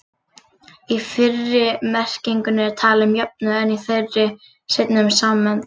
Í fyrri merkingunni er talað um jöfnuð, en í þeirri seinni um samsemd.